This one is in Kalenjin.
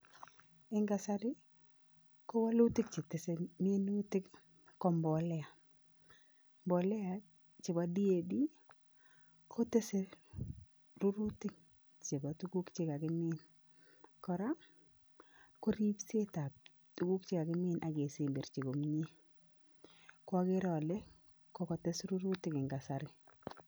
Eng kasari, ko wolutik chetese minutik ko mbolea. Mbolea chepo [Diamonium phoshate kotese rurutik chepo tuguk chekakimin, kora ko ripsetap tuguk chekakimin ak kesemberchi komie ko akere ale, kokotes rurutik eng kasari.